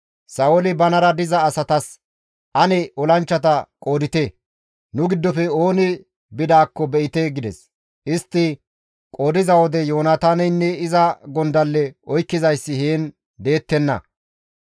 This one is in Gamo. Sa7ooli banara diza asatas, «Ane olanchchata qoodite; nu giddofe ooni bidaakko be7ite» gides. Istti qoodiza wode Yoonataaneynne iza gondalle oykkizayssi heen deettenna.